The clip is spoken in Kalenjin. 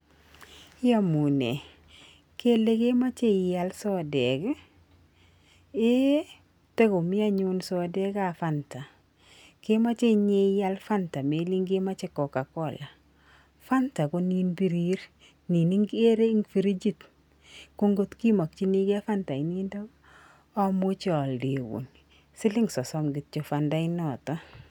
Iamunee kele kemoche ial sodek ii? eeh, takomi anyun sodekab Fanta, kemoche inye ial Fanta melen kemoche Coca Cola. Fanta ko nin birir nin ikere eng frijit ko ngot imokchinigei Fanta inintok, amuchi aldeun siling sosom kityo fanta inoto.